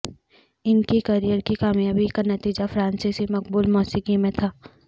ان کی کیریئر کی کامیابی کا نتیجہ فرانسیسی مقبول موسیقی میں تھا